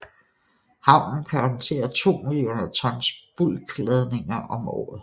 Havnen kan håndtere to millioner tons bulkladninger om året